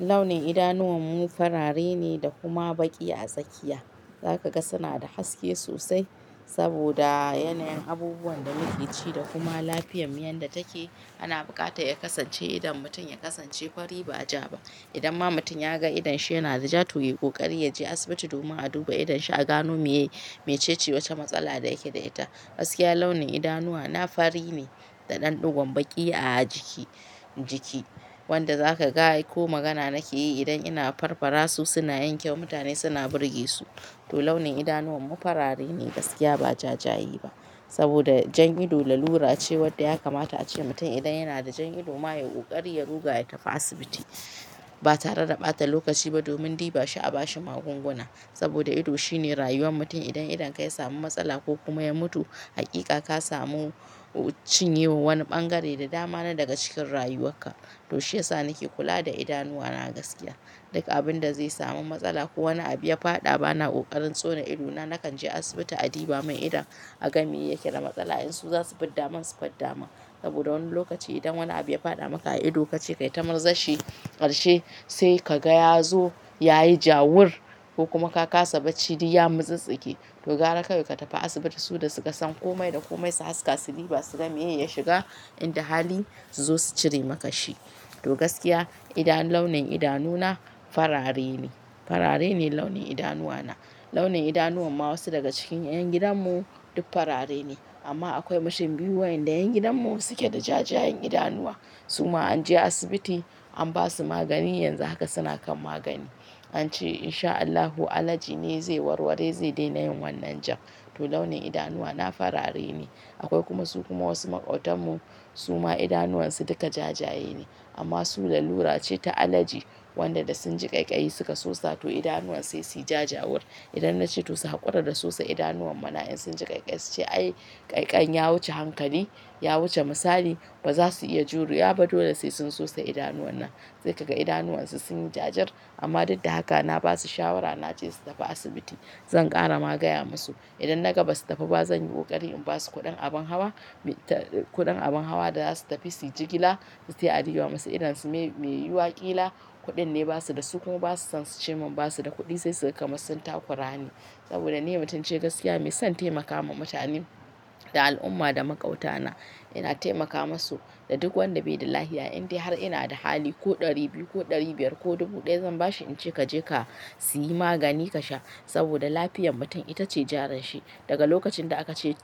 Launin idanuwanmu farare ne da kuma baki a tsakiya. Zaka ga suna da haske sosai saboda yanayin abubuwan da muke ci da kuma lafiyarmu yadda take. Ana buƙatar ya kasance idan mutum ya kasance fari ba ja ba. Idan ma mutum ya ga idonsa yana da ja, to yi ƙoƙari ya je asibiti domin a duba idonsa, a gano meye mecece wata matsala da yake da ita. Gaskiya launin idanuwa na fari ne da ɗanɗigon baki a jiki, wanda za ka ga ko magana nake yi idan ina farfara su suna yankewa mutane suna burge su. To launin idanuwanmu farare ne gaskiya ba ja ja ye ba saboda jan ido lalura ce wadda ya kamata ace mutum idan yana da jan ido ma ya yi ƙoƙari ya ruga ya tafi asibiti ba tare da ɓata lokaci ba domin ɗiba shi a ba shi magunguna. Saboda ido shine rayuwar mutum idan idonka ya samu matsala ko kuma ya mutu, hakika ka samu cinye wa wani ɓangare da dama na daga cikin rayuwarka. To shiyasa nake kula da idanuwana gaskiya. Duka abin da zai samu matsala ko wani abu ya faɗa bana ƙoƙarin tsone ido na nakan je asibiti a ɗiba mun idon a ga me yake da matsala in su za su fidda mun su fidda mun. Saboda wani lokaci idan wani abu ya faɗa maka a ido kace kai ta murzarshi karshe sai ka ga ya zo ya yi jawur ko kuma ka kasa bacci duk ya mu tsintsike. To gara kawai ka tafi asibiti su da su ka san komai da komai su haska su ɗiba su ga me ya shiga inda hali su zo su cire maka shi. To gaskiya launin idanuna farare ne, farare ne launin idanuwana. Launin idanuwan ma wasu daga cikin ƴan gidanmu duk farare ne amma akwai mutum biyu waƴanda ƴan gidanmu suke da ja jayen idanuwa. Su ma an je asibiti an ba su magani yanzu haka suna kan magani. An ce in sha Allahu allaji ne zai warware zai daina yin wannan jam. To launin idanuwana farare ne. Akwai kuma su kuma wasu maƙotanmu su ma idanuwansu duka ja jayaye ne amma su lalura ce ta allaji wanda da sun ji ƙaiƙayi suka sosa to idanuwan sai su yi ja jawur. Idan na ce to su haƙura da su sa idanuwan mana in sun ji ƙaiƙayi su ce "ai ƙaiƙai ya wuce hankali, ya wuce misali" ba za su iya jurewa ba. Dole sai sun sosa idanuwan nan. Sai ka ga idanuwansu sun yi jajir amma duk da haka na ba su shawara na ce su tafi asibiti. Zan ƙara magaya musu idan na gaba su tafi ba zan yi ƙoƙari in ba su kuɗin abun hawa abin hawa da za su tafi suyi jigila sai a ɗiba musu idonsu me yiwa ƙila. Kuɗin ne ba su da su kuma ba su son su ce mun ba su da kuɗi sai suga kamar sun takurani. Saboda ni mutumce gaskiya mai son taimakawa mutane da al'umma da maƙotana ina taimaka musu da duk wanda bai da lafiya indai har ina da hali ko ɗari biyu ko ɗari biyar ko dubu ɗaya zan ba shi in ce ka je ka siyi magani ka sha. Saboda lafiyar mutum ita ce jarinshi. Daga lokacin da aka ce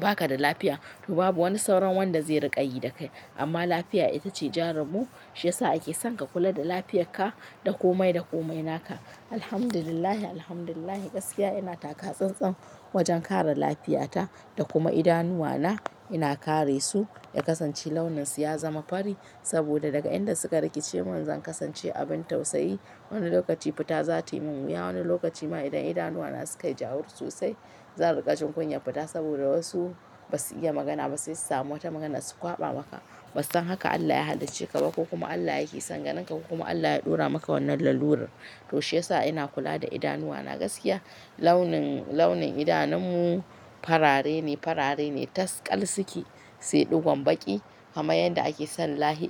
ba ka da lafiya to babu wani sauran wanda zai riƙa yi dakai. Amma lafiya ita ce jarinmu shiyasa ake son ka kula da lafiyarka da komai da komai naka. Alhamdulillah, alhamdulillah gaskiya ina taka tsantsan wajen kare lafiyata da kuma idanuwana ina kare su ya kasance launinsu ya zama fari saboda daga inda suka rike ce mun zan kasance abin tausayi. Wani lokaci fita za tayi mun wuya, wani lokaci ma idan idanuwana suka yi jawur sosai zan riƙa jin kunyar fita saboda wasu ba su iya magana ba sai su samu wata magana su kwaɓa maka. Ba su san haka Allah ya halicce ka ba ko kuma Allah yake son ganinka ko kuma Allah ya ɗora maka wannan lalurar. To shiyasa ina kula da idanuwana gaskiya. Launin idanunmu farare ne, farare ne tas ƙal suke sai ɗigon baki kamar yadda ake son lahi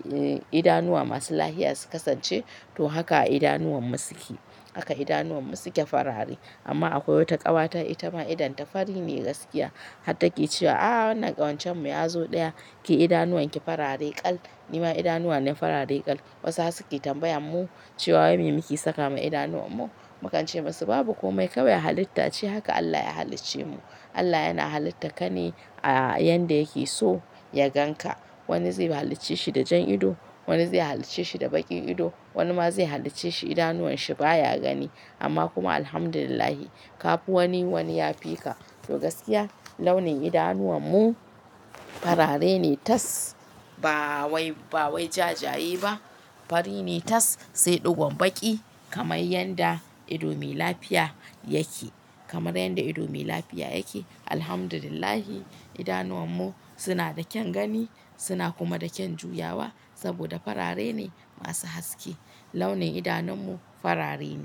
idanuwa masu lafiya su kasance to haka idanuwanmu suke. Haka idanuwanmu suke farare amma akwai wata ƙawata ita ma idonta fari ne gaskiya har take cewa "A'a wannan ƙawancen mu ya zo ɗaya ke idanuwanki farare ƙal." Ni ma idanuwa ne farare ƙal. Wasu haka suke tambayan mu cewa wai me muke saka ma idanuwanmu. Mu kan ce musu babu kome kawai Allah ya halitta ce haka Allah ya halicce mu. Allah yana halitta ka ne a yanda yake so ya gan ka. Wani zai halicce shi da jan ido, wani zai halicce shi da baƙin ido, wani ma zai halicce shi idanuwanshi baya gani. Amma kuma alhamdulillah ka fi wani wani ya fi ka. To gaskiya launin idanuwanmu farare ne tas ba wai ja jayaye ba fari ne tas sai ɗigon baƙi kamar yadda ido mai lafiya yake kamar yadda ido mai lafiya yake. Alhamdulillah idanuwanmu suna da kyan gani suna kuma da kyan juyawa saboda farare ne masu haske. Launin idanunmu farare ne.